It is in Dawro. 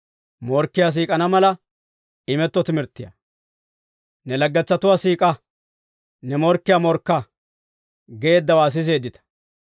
« ‹Ne laggetsatuwaa siik'a; ne morkkiyaa morkka› geeddawaa siseeddita.